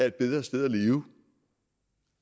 et bedre sted at leve